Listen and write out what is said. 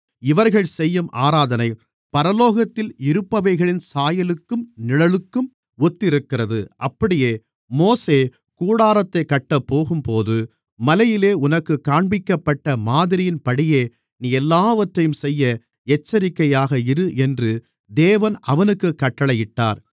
இவர்கள் செய்யும் ஆராதனை பரலோகத்தில் இருப்பவைகளின் சாயலுக்கும் நிழலுக்கும் ஒத்திருக்கிறது அப்படியே மோசே கூடாரத்தைக் கட்டப் போகும்போது மலையிலே உனக்குக் காண்பிக்கப்பட்ட மாதிரியின்படியே நீ எல்லாவற்றையும் செய்ய எச்சரிக்கையாக இரு என்று தேவன் அவனுக்குக் கட்டளையிட்டார்